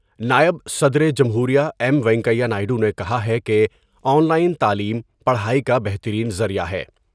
نائب صدر جمہور ایم وینکیا نائیڈو نے کہا ہے کہ آن لائن تعلیم پڑھائی کا بہترین ذریعہ ہے ۔